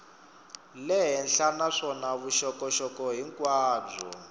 le henhla naswona vuxokoxoko hinkwabyo